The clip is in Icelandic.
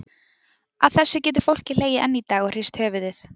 Að þessu getur fólkið hlegið enn í dag og hrist höfuðið.